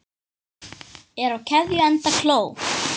Er á keðju enda kló.